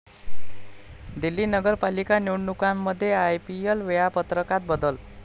दिल्ली नगरपालिका निवडणुकांमुळे आयपीएल वेळापत्रकात बदल